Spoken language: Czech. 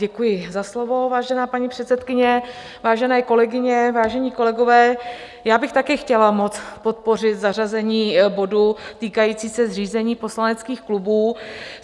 Děkuji za slovo, vážená paní předsedkyně, vážené kolegyně, vážení kolegové, já bych taky chtěla moc podpořit zařazení bodu týkajícího se zřízení poslaneckých klubů.